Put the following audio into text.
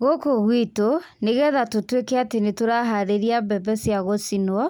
Gũkũ gwitũ, nĩgetha tũtwíke atĩ nĩtũraharĩria mbembe cia gũcinwo,